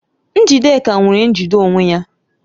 Njidenka nwere njide onwe ya